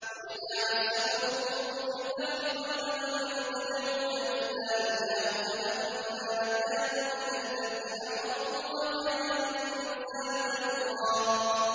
وَإِذَا مَسَّكُمُ الضُّرُّ فِي الْبَحْرِ ضَلَّ مَن تَدْعُونَ إِلَّا إِيَّاهُ ۖ فَلَمَّا نَجَّاكُمْ إِلَى الْبَرِّ أَعْرَضْتُمْ ۚ وَكَانَ الْإِنسَانُ كَفُورًا